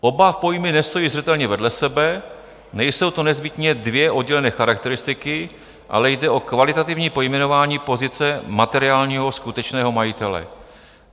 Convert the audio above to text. Oba pojmy nestojí zřetelně vedle sebe, nejsou to nezbytně dvě oddělené charakteristiky, ale jde o kvalitativní pojmenování pozice materiálního skutečného majitele."